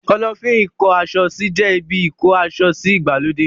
Kọ́lọ́fín ìkó aṣọ sí jẹ́ ibi ìkó asọsí ìgbàlódé.